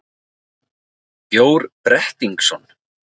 Bjór Brettingsson,